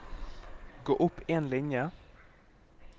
Gå opp en linje